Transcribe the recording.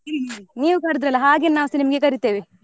ನೀವ್ ಕರಿದ್ರಲ್ಲ ಹಾಗೆ ನಾವ್ ಕರೀತೇವೆ.